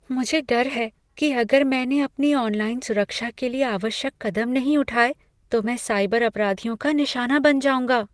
मुझे डर है कि अगर मैंने अपनी ऑनलाइन सुरक्षा के लिए आवश्यक कदम नहीं उठाए तो मैं साइबर अपराधियों का निशाना बन जाऊंगा।